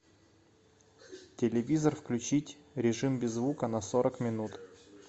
телевизор включить режим без звука на сорок минут